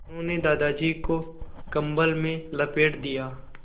उन्होंने दादाजी को कम्बल में लपेट दिया